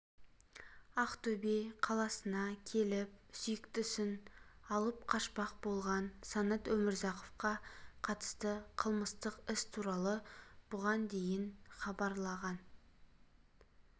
ақтөбе қаласына келіп сүйіктісін алып қашпақ болған санат өмірзақовқа қатысты қылмыстық іс туралы бұған дейін хабарланған